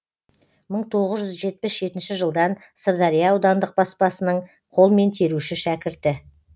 мың тоғыз жүз жетпіс жетінші жылдан сырдария аудандық баспасының қолмен теруші шәкірті